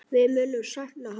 Við munum sakna hans.